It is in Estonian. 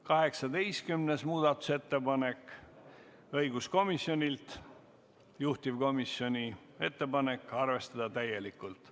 18. muudatusettepanek on õiguskomisjonilt, juhtivkomisjoni ettepanek on arvestada seda täielikult.